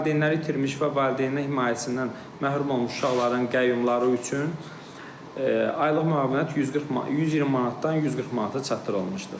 Valideynləri itirmiş və valideyn himayəsindən məhrum olmuş uşaqların qəyyumları üçün aylıq müavinət 120 manatdan 140 manata çatdırılmışdır.